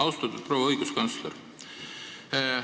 Austatud proua õiguskantsler!